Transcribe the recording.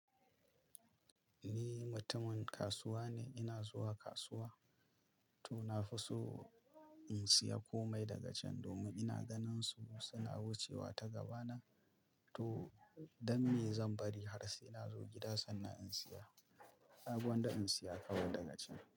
Ni mutumin kasuwa ne, ina zuwa kasuwa to na fi so in siya komai daga cen domin ina ganin su suna wucewa ta gaba nan, to dan ne zan bari har sai ina zo gida sannan in siya. Sabo da in siya kawai daga cen.